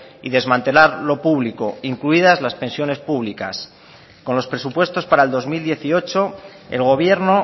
y desmantelar lo público incluidas las pensiones públicas con los presupuestos para el dos mil dieciocho el gobierno